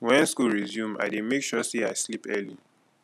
wen school resume i dey make sure sey i sleep early